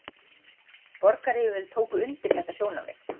Borgaryfirvöld tóku undir þetta sjónarmið